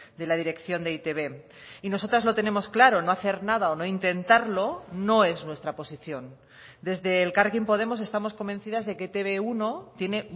de la dirección de e i te be y nosotras lo tenemos claro no hacer nada o no intentarlo no es nuestra posición desde elkarrekin podemos estamos convencidas de que etb uno tiene